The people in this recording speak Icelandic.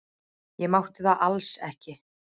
Ég mátti það alls ekki.